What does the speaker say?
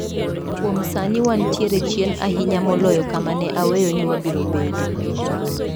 " Kuom sani wantie chien ahinya moloyo kama ne aweyo ni wabiro bede".